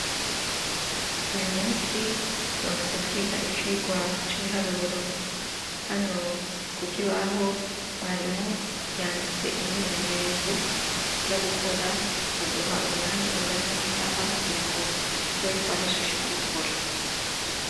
Uyumunsi turabanza twiga icirwa c'ibiharuro hano kukibaho mwarimu yanditse umwimenyerezo tuza kugirango tube twahejej gukora baduha umwanya ungana nisaha kugirango tube twahejeje kubikora.